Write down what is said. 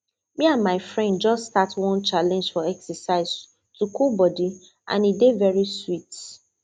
me and my friend just start one challenge for exercise to cool body and e dey very sweet